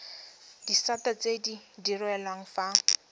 disata tse di direlwang fa